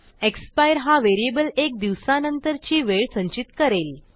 expire हा variable एक दिवसानंतरची वेळ संचित करेल